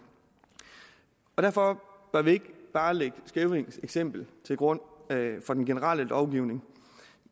og derfor bør vi ikke bare lægge skævinges eksempel til grund for den generelle lovgivning